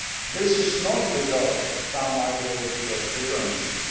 This is not because of some ideological differences.